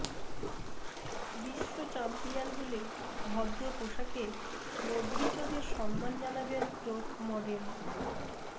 বিশ্বচ্যাম্পিয়ন হলে ভদ্র পোশাকে মদ্রিচদের সম্মান জানাবেন ক্রোট মডেল